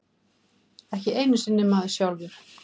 Ekki einu sinni maður sjálfur.